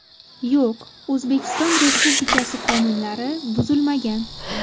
Yo‘q, O‘zbekiston Respublikasi qonunlari buzilmagan!!